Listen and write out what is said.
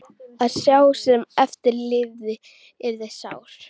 Að sá sem eftir lifði yrði sár.